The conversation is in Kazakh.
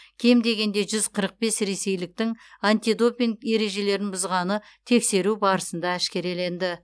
кем дегенде жүз қырық бес ресейліктің антидопинг ережелерін бұзғаны тексеру барысында әшкереленді